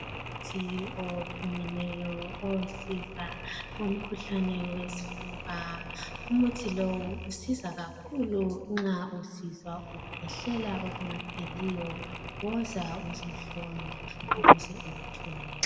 Umuthi ophumileyo osiza umkhuhlane wesifuba .Umuthi lowu usiza kakhulu nxa usizwa ukhwehlela okungapheliyo .Woza uzohlolwa ukuze uwuthole .